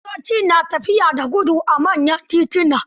Motoci na tafiya da gudu a manyan tituna.